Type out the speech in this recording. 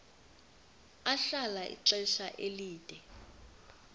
ahlala ixesha elide